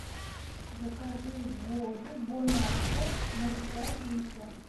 закажи воду бонаква ноль пять литра